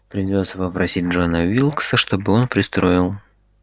придётся попросить джона уилкса чтобы он пристроил